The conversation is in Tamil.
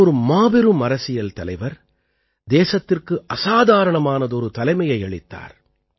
அவர் ஒரு மாபெரும் அரசியல் தலைவர் தேசத்திற்கு அசாதாரணமானதொரு தலைமையை அளித்தார்